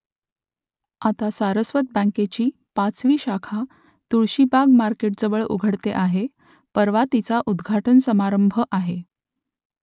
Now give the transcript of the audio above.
आता सारस्वत बँकेची पाचवी शाखा तुळशीबाग मार्केटजवळ उघडते आहे परवा तिचा उद्घाटन समारंभ आहे